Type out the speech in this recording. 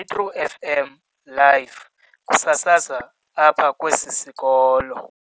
"iTru FM live" kusasazwa apha kwesi sikolo.